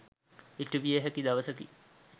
ඉටුවිය හැකි දවසකි.